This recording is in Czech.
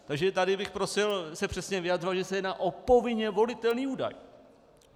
Takže tady bych prosil se přesně vyjadřovat, že se jedná o povinně volitelný údaj.